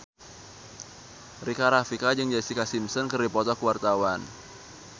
Rika Rafika jeung Jessica Simpson keur dipoto ku wartawan